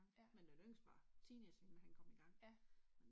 Men den yngste var teenage inden han kom igang